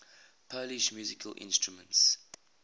polish musical instruments